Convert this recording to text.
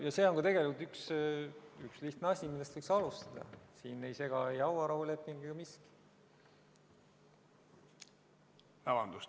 Ja see on ka üks lihtne asi, millest võiks alustada, siin ei sega ei hauarahuleping ega miski muu.